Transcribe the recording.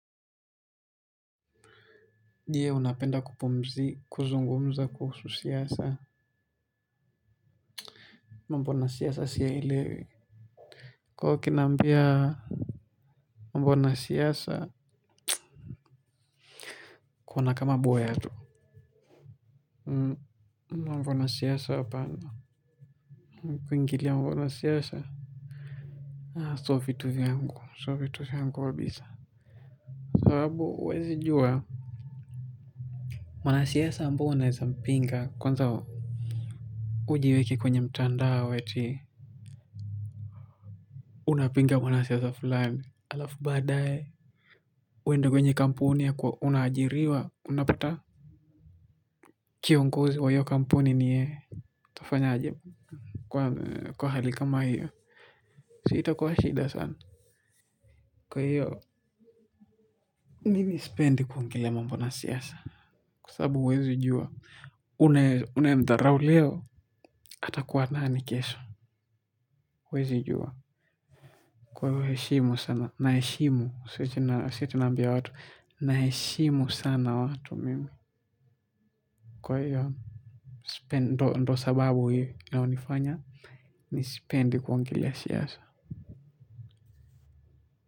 Je, unapenda kuzungumza kuhusu siasa? Mambo na siasa siyaelewi kwa kina. Mambo na siasa. Kuona kama boya tu mambo na siasa hapana kuingilia mambo na siasa sio vitu vyangu sio vitu vyangu kabisa sababu huwezi jua mwanasiasa ambao unaeza mpinga kwanza ujiweke kwenye mtandao eti unapinga mwanasiasa fulani halafu badaye uende kwenye kampuni ya kwa unaajiriwa unapata kiongozi wa hiyo kampuni ni yeye utafanyaje kwa hali kama hiyo si itakuwa shida sana kwa hiyo mimi sipendi kuongelea mambo na siasa kwa sababu huwezi jua unayemdharau leo atakuwa nani kesho huwezi jua. Kwa hivo heshimu sana. Naheshimu. Si eti naambia watu. Naheshimu sana watu mimi. Kwa hiyo ndo sababu hiyo laonifanya mi sipendi kuongelea siasa.